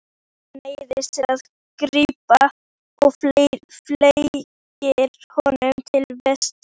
Sem neyðist til að grípa og fleygir honum til Vésteins.